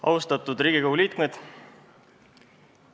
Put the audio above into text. Austatud Riigikogu liikmed!